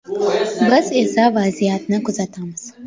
Biz esa vaziyatni kuzatamiz.